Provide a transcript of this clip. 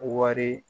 Wari